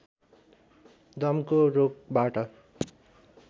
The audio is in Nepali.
दमको रोगबाट